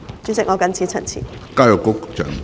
主席，我謹此陳辭。